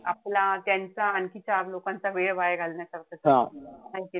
आपला त्यांचा आणखी चार लोकांचा वेळ वाया घालवण्यासारखंच आहे. है कि नाई?